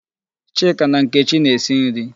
Chika na Nkechi na-esi nri